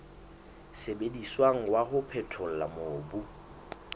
sebediswang wa ho phethola mobu